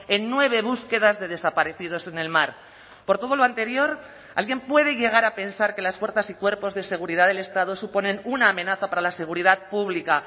en nueve búsquedas de desaparecidos en el mar por todo lo anterior alguien puede llegar a pensar que las fuerzas y cuerpos de seguridad del estado suponen una amenaza para la seguridad pública